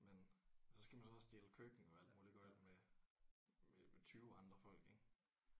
Men så skal man så også dele køkken og alt muligt gøgl med med 20 andre folk ik